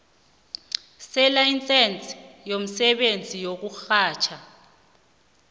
selayisense yomsebenzi wokurhatjha